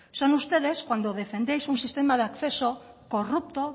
son ustedes cuando defendéis un sistema de acceso corrupto